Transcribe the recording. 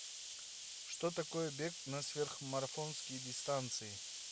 что такое бег на сверхмарафонские дистанции